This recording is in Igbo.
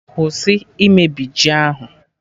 Kwụsị imebi ji ahụ!